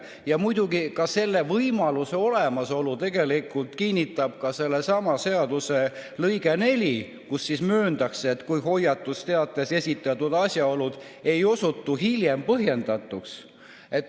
Ja tegelikult selle võimaluse olemasolu kinnitab ka sellesama seaduseelnõu neljas lõige, milles mööndakse, et hoiatusteates esitatud asjaolud ei pruugi osutuda hiljem põhjendatuks.